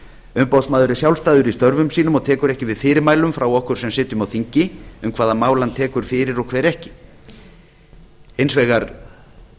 umboðsmaður er sjálfstæður í störfum sínum og tekur ekki við fyrirmælum frá okkur sem sitjum á þingi um það hvaða mál hann tekur fyrir og hver ekki hins vegar